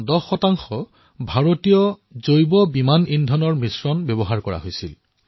এয়া প্ৰথমবাৰলৈ হৈছে যত দুয়োটা ইঞ্জিনতে এই মিশ্ৰণ ব্যৱহাৰ কৰা হৈছে